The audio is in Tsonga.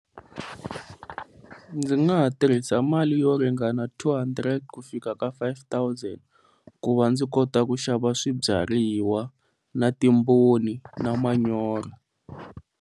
Ndzi nga ha tirhisa mali yo ringana two hundred ku fika ka five thousand, ku va ndzi kota ku xava swibyariwa na timbhoni na manyoro.